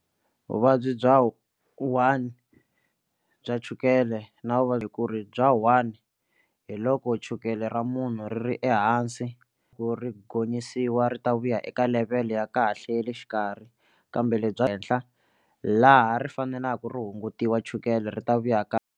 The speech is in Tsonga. Vuvabyi bya one bya chukele na vuvabyi ku ri bya one hi loko chukele ra munhu ri ri ehansi ku ri gonyisiwa ri ta vuya eka level ya kahle ya le xikarhi kambe lebya henhla laha ri faneleke ri hungutiwa chukele ri ta vuya .